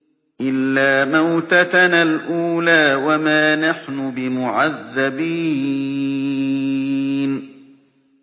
إِلَّا مَوْتَتَنَا الْأُولَىٰ وَمَا نَحْنُ بِمُعَذَّبِينَ